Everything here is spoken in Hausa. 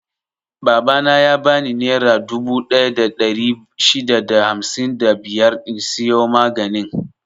Babana ya bani nera dubu ɗaya da ɗari shida da hamsin da biyar in siyo maganin.